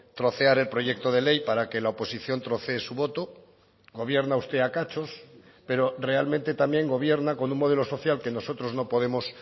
trocear el proyecto de ley para que la oposición trocee su voto gobierna usted a cachos pero realmente también gobierna con un modelo social que nosotros no podemos